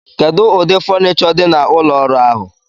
Kedu ụdị fonicho dị na ụlọ ọrụ ahụ?